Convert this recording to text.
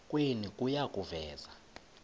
kwenu kuya kuveza